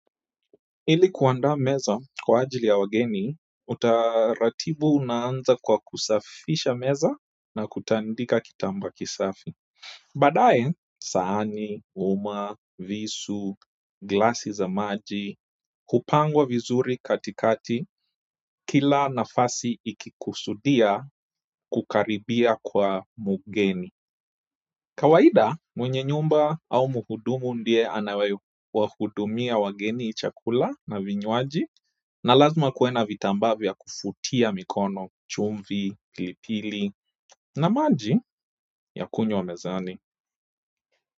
Ili kuanda meza kwa ajili ya wageni, utaratibu unaanza kwa kusafisha meza na kutandika kitamba kisafi. Badaye sahani, uma, visu, glasi za maji, kupangwa vizuri katikati kila nafasi ikikusudia kukaribia kwa mgeni. Kawaida mwenye nyumba au muhudumu ndiye anawahudumia wageni chakula na vinywaji na lazima kuwe na vitamba vya kufuatia mikono, chumvi, pilipili, na maji ya kunywa mezani.